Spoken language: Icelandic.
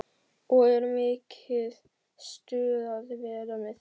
Og er mikið stuð að vera með þeim?